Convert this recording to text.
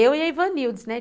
Eu e a Ivanildes, né?